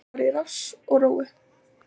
Að fara í rass og rófu